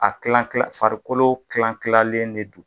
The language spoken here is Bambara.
A kilan kilan farikolo kilankilanlen de don